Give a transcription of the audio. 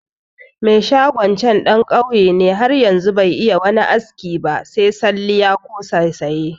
Me shagon can ɗan ƙauye ne har yanzu be iya wani aski ba se salliya ko saisaya